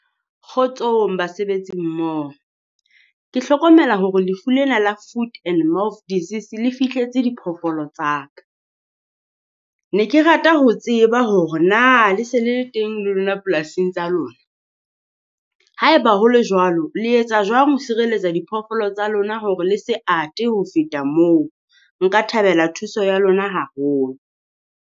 Kgotsong basebetsi mmoho, ke hlokomela hore lefu lena la Food And Mouth of Disease le fihletse diphoofolo tsa ka. Ne ke rata ho tseba hore na le se le le teng le lona polasing tsa lona. Haeba ho le jwalo, le etsa jwang ho sireletsa diphoofolo tsa lona hore le se ate ho feta moo? Nka thabela thuso ya lona haholo.